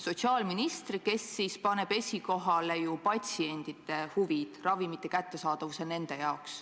Sotsiaalminister paneb esikohale patsientide huvid, ravimite kättesaadavuse nende jaoks.